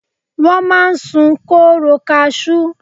Wọ́n máa ń sun kóóró kasú.